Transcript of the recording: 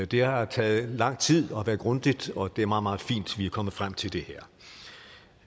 det har taget lang tid det har været grundigt og det er meget meget fint at vi er kommet frem til det her